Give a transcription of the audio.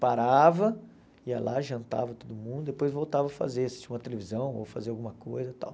Parava, ia lá, jantava todo mundo, depois voltava a fazer, assistir uma televisão ou fazer alguma coisa e tal.